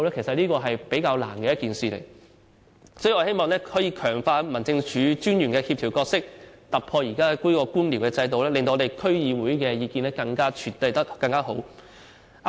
所以，我們希望可以強化民政事務專員的協調角色，突破現時的官僚制度，使區議會的意見獲得更妥善的處理。